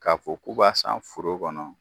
K'a fɔ' k'u b'a san foro kɔnɔ.